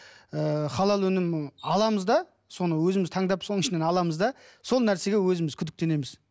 ыыы халал өнімін аламыз да соны өзіміз таңдап соның ішінен аламыз да сол нәрсеге өзіміз күдіктенеміз